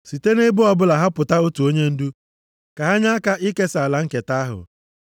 Site nʼebo ọbụla họpụta otu onyendu ka ha nye aka ikesa ala nketa ahụ.